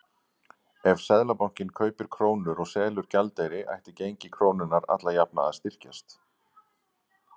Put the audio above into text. Ef Seðlabankinn kaupir krónur og selur gjaldeyri ætti gengi krónunnar alla jafna að styrkjast.